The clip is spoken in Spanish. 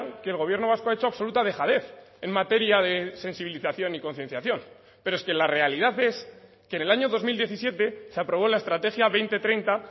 que el gobierno vasco ha hecho absoluta dejadez en materia de sensibilización y concienciación pero es que la realidad es que en el año dos mil diecisiete se aprobó la estrategia dos mil treinta